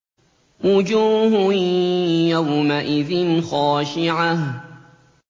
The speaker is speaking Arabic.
وُجُوهٌ يَوْمَئِذٍ خَاشِعَةٌ